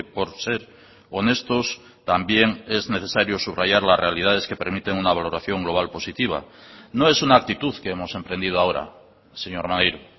por ser honestos también es necesario subrayar las realidades que permiten una valoración global positiva no es una actitud que hemos emprendido ahora señor maneiro